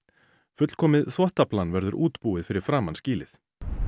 fullkomið þvottaplan verður útbúið fyrir framan skýlið